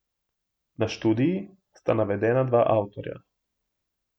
Na študiji sta navedena dva avtorja.